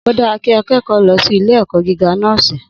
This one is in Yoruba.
Odára kí akẹẹkọ lọ sí ilé èkó gíga nọ́ọ́si